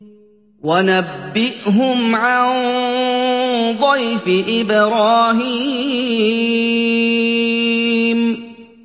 وَنَبِّئْهُمْ عَن ضَيْفِ إِبْرَاهِيمَ